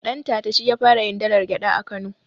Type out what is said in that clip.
Dantata shi ya fara yin dalar gyaɗa a kano